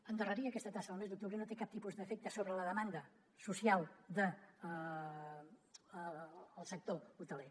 endarrerir aquesta taxa al mes d’octubre no té cap tipus d’efecte sobre la demanda social del sector hoteler